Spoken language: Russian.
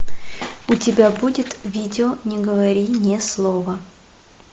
у тебя будет видео не говори ни слова